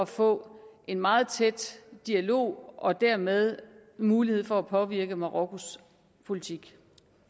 få en meget tæt dialog og dermed en mulighed for at påvirke marokkos politik